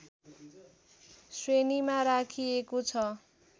श्रेणीमा राखिएको छ